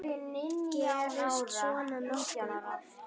Gerist svona nokkuð oft?